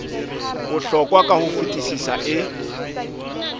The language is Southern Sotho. bohlokwa ka ho fetisisa e